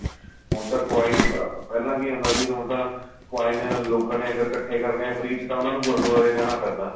ਹੁਣ ਤਾਂ coin ਪਹਿਲਾਂ ਕੀ ਹੁੰਦਾ ਸੀ ਹੁਣ ਤਾਂ coin ਲੋਕਾ ਨੇ ਅਗਰ ਇੱਕਠੇ ਕਰਨੇ ਏ free ਚ ਤਾਂ ਉਹਨਾ ਨੂੰ ਗੁਰੂਦਆਰੇ ਜਾਣਾ ਪੈਂਦਾ